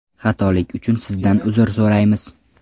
Xatolik uchun Sizdan uzr so‘raymiz.